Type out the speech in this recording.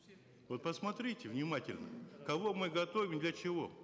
вот посмотрите внимательно кого мы готовим для чего